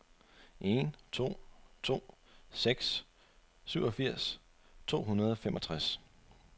en to to seks syvogfirs to hundrede og femogtres